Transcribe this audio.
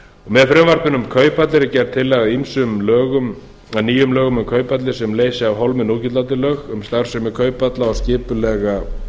með frumvarpinu um kauphallir er gerð tillaga að ýmsum lögum að nýjum lögum um kauphallir sem leysi af hólmi núgildandi lög um starfsemi kauphalla og skipulega